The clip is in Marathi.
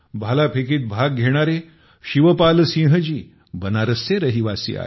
भाला फेकीत भाग घेणारे शिवपालसिंहजी बनारसचे रहिवासी आहेत